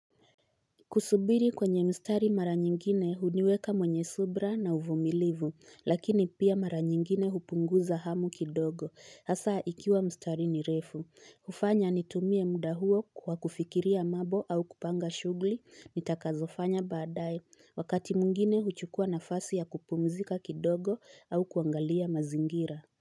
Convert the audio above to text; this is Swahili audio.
Kusubiri kwenye mstari mara nyingine uniweka mwenye subra na uvumilivu, lakini pia mara nyingine upunguza hamu kidogo, hasa ikiwa mstari ni refu. Hufanya nitumie muda huo kwa kufikiria mabo au kupanga shugli nitakazofanya baadae. Wakati mwingine uchukua na fasi ya kupumzika kidogo au kuangalia mazingira.